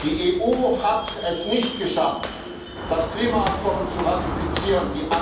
Die EU hat es nicht geschafft, das Klimaabkommen zu ratifizieren.